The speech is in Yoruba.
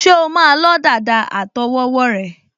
Ṣé o o máa lọ́ dàda àtọwọ́wọ́ rẹ?